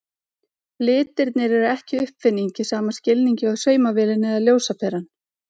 Litirnir eru ekki uppfinning í sama skilningi og saumavélin eða ljósaperan.